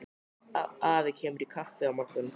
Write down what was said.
Afi kemur í kaffi á morgun.